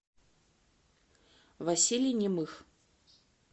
василий немых